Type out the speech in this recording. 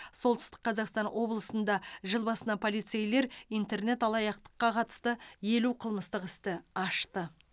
солтүстік қазақстан облысында жыл басынан полицейлер интернет алаяқтыққа қатысты елу қылмыстық істі ашты